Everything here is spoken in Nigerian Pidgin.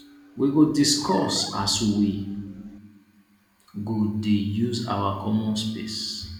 we go discuss as we go dey use our common space